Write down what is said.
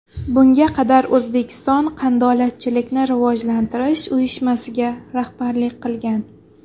Bunga qadar O‘zbekiston Qandolatchilikni rivojlantirish uyushmasiga rahbarlik qilgan.